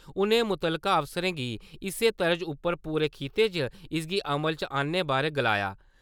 उ`नें मुतलका अफसरें गी इसे तरज उप्पर पूरे खिते च इसगी अमल च अन्ने बारे गलाया।